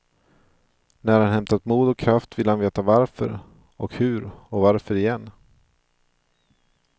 När han hämtat mod och kraft ville han veta varför, och hur och varför igen.